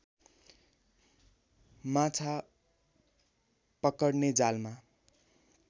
माछा पकड्ने जालमा